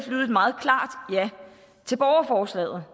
lyde et meget klart ja til borgerforslaget